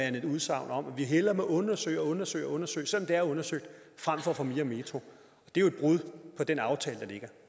end et udsagn om at vi hellere må undersøge og undersøge og undersøge selv er undersøgt frem for at få mere metro og det er jo et brud på den aftale